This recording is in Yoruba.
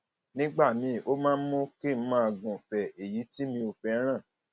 nígbà míì ó máa ń mú kí n máa gúfèé èyí tí mi ò fẹràn